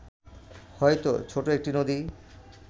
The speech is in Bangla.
হয়তো ছোট একটি নদী